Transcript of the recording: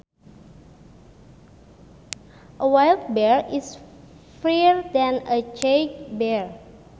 A wild bear is freer than a caged bear